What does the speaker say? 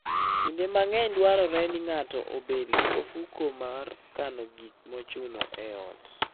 Kinde mang'eny dwarore ni ng'ato obed gi ofuko mar kano gik mochuno e ot.